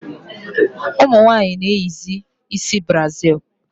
Ụmụnwanyi na-eyizi ịsị brazil